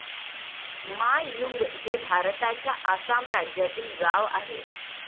मा यूंग हे भारताच्या आसाम राज्यातील गाव आहे